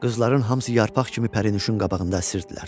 Qızların hamısı yarpaq kimi Pərinuşun qabağında əsirdilər.